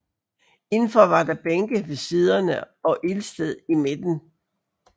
Indenfor var der bænke ved siderne og ildsted i midten